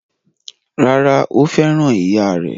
Rárá, Ó fẹ́ràn ìyáà rẹ̀?